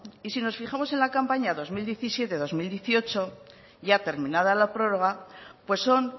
y si nos fijamos en la campaña dos mil diecisiete dos mil dieciocho ya terminada la prórroga pues son